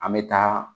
An bɛ taa